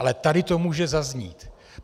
Ale tady to může zaznít.